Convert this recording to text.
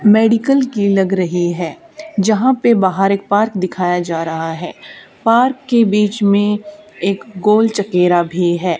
Medical की लग रही है जहां पे बाहर एक पार्क दिखाया जा रहा है पार्क के बीच में एक गोल चकेरा भी है।